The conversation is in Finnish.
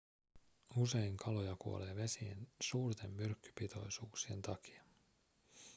usein kaloja kuolee vesien suurten myrkkypitoisuuksien takia